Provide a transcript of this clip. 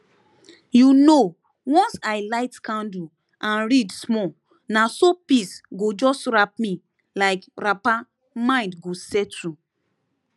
you know once i light candle and read small na so peace go just wrap me like wrappermind go settle